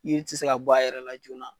Iri ti se ka bɔ a yɛrɛ la joona